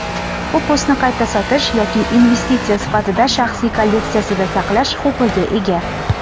U postni qayta sotish yoki investitsiya sifatida "shaxsiy kolleksiyasida" saqlash huquqiga ega.